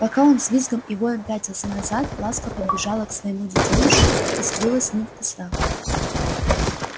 пока он с визгом и воем пятился назад ласка подбежала к своему детёнышу и скрылась с ним в кустах